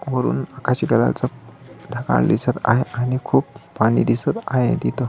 वरून आकाशी कलरच ढगाळ दिसत आहे आणि खूप पाणी दिसत आहे तिथं.